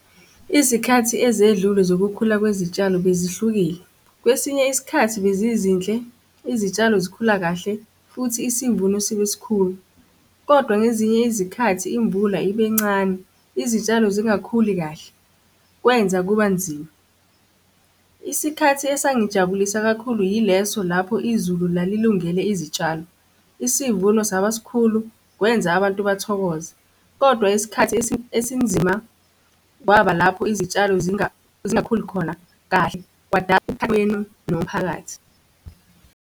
Izikhathi ezedlule zokukhula kwezitshalo bezihlukile, kwesinye isikhathi bezizinhle izitshalo zikhula kahle futhi isivuno sibe sikhulu, kodwa ngezinye izikhathi imvula ibencane, izitshalo zingakhuli kahle, kwenza kuba nzima. Isikhathi esangijabulisa kakhulu yileso lapho izulu lalilungele izitshalo, isivuno saba sikhulu kwenza abantu bathokoze, kodwa isikhathi esinzima kwaba lapho izitshalo zingakhuli khona kahle kwadala nomphakathi.